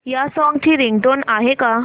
या सॉन्ग ची रिंगटोन आहे का